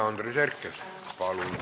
Andres Herkel, palun!